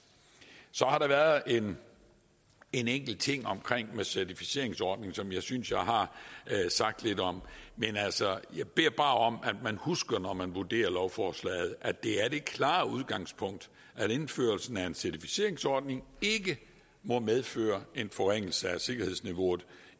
så har der været en enkelt ting omkring certificeringsordningen som jeg synes jeg har sagt lidt om men altså jeg beder bare om at man husker når man vurderer lovforslaget at det er det klare udgangspunkt at indførelsen af en certificeringsordning ikke må medføre en forringelse af sikkerhedsniveauet